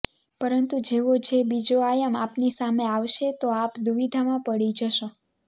પરંતુ જેવો જે બીજો આયામ આપની સામે આવશે તો આપ દુવિધામાં પડી જશો